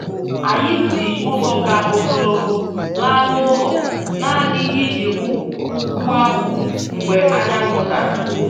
Anyị si ụzọ ka ogologo laa n'ụlọ nanị iji hụ ugwu ahụ mgbe anyanwụ dara